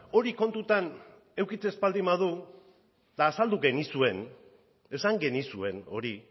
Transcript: hori kontutan edukitzen ez baldin badu azaldu genizuen esan genizuen hori